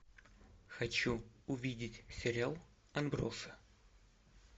хочу увидеть сериал отбросы